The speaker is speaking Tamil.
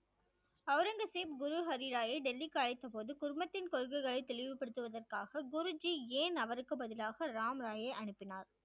ஒளரங்கசீப் குரு ஹரிராயை டெல்லிக்கு அழைத்த போது குழுமத்தின் கொள்கைகளை தெளிவுபடுத்துவதற்காக குருஜி ஏன் அவருக்கு பதிலாக ராம்ராயை அனுப்பினார்?